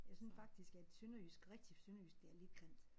Jeg synes faktisk at sønderjysk rigtig sønderjysk det er lidt grimt